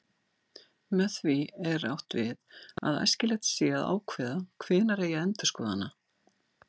Með því er átt við að æskilegt sé að ákveða hvenær eigi að endurskoða hana.